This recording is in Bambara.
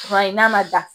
Fura ye n'a ma da